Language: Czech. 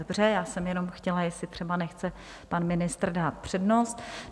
Dobře, já jsem jenom chtěla, jestli třeba nechce pan ministr dát přednost.